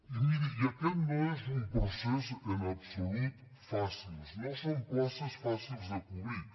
i miri aquest no és un procés en absolut fàcil no són places fàcils de cobrir